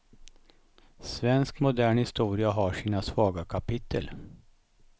Svensk modern historia har sina svaga kapitel.